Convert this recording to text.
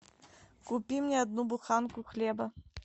купи мне одну буханку хлеба